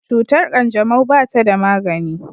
Cutar kanjamau ba ta da magani.